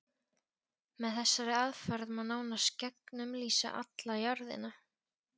Með þessari aðferð má nánast gegnumlýsa alla jörðina.